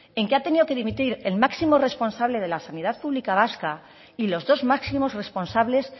en que ha tenido que dimitir el máximo responsable de la sanidad pública vasca y los dos máximos responsables